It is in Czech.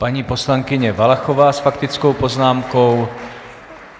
Paní poslankyně Valachová s faktickou poznámkou.